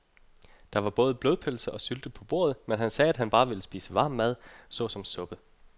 Der var både blodpølse og sylte på bordet, men han sagde, at han bare ville spise varm mad såsom suppe.